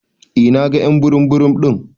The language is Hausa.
Eh na gan y'an burum burum din.